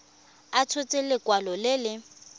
a tshotse lekwalo le le